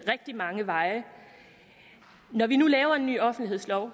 rigtig mange veje når vi nu laver en ny offentlighedslov